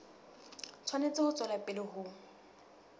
tshwanetse ho tswela pele ho